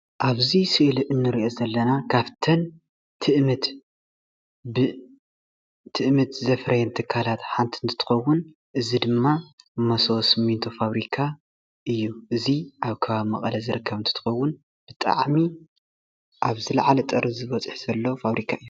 ኣብዚ ሰእሊ እንሪኦ ዘለና ካፍተን ትእምት ትእምት ዘፍረየን ትካላት ሓንቲ እንትኸውን እዚ ድማ መሶቦ ሰሚንቶ ፋብሪካ እያ። እዚ ኣብ ከባቢ መቀለ ዝርከብ እንትኸውን ብጣዕሚ ኣብ ዝለዓለ ጠርዚ በፂሑ ዘሎ ፋብሪካ እዩ።